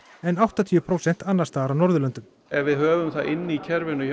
en áttatíu prósent annars staðar á Norðurlöndum ef við höfum það inn í kerfinu